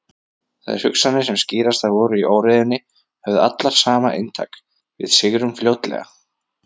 Þær hugsanir sem skýrastar voru í óreiðunni höfðu allar sama inntak: Við sigrum fljótlega.